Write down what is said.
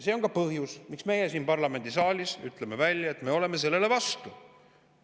See on ka põhjus, miks me siin parlamendisaalis ütleme välja, et me oleme sellele vastu.